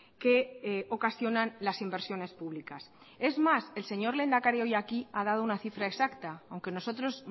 que ocasionan las inversiones publicas es más el señor lehendakari hoy aquí ha dado una cifra exacta aunque nosotros